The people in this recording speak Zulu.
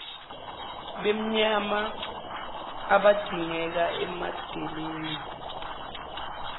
benyama abadingeka emadeleni